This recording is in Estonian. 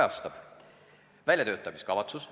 Esiteks, väljatöötamiskavatsus.